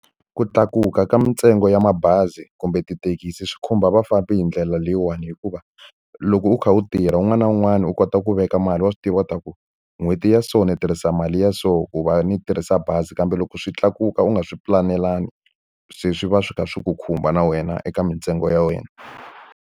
Ku tlakuka ka mintsengo ya mabazi kumbe tithekisi swi khumba vafambi hi ndlela leyiwani hikuva, loko u kha u tirha wun'wana na wun'wana u kota ku veka mali, wa swi tiva leswaku n'hweti ya so ni u tirhisa mali ya so ku va ni tirhisa bazi. Kambe loko swi tlakuka u nga swi pulanelangi se swi va swi kha swi ku khumba na wena eka mintsengo ya wena.